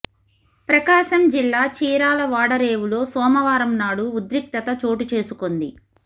ప్రకాశం జిల్లా చీరాల వాడరేవులో సోమవారం నాడు ఉద్రిక్తత చోటు చేసుకొంది